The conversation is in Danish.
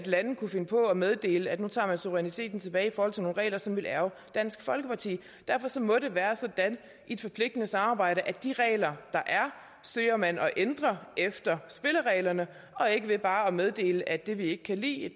lande kunne finde på at meddele at nu tager man suveræniteten tilbage i forhold til nogle regler som ville ærgre dansk folkeparti derfor må det være sådan i et forpligtende samarbejde at de regler der er søger man at ændre efter spillereglerne og ikke ved bare at meddele at det vi ikke kan lide